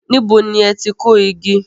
Níbo ni ẹ ti kó igi?